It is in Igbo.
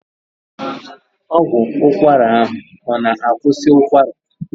Ọgwụ ụkwara ahụ ọ na akwusi ụkwara ya?